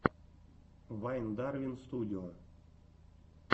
вайн дарвин студио